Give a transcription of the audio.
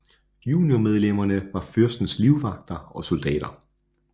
Juniormedlemmerne var fyrstens livvagter og soldater